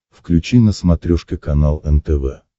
включи на смотрешке канал нтв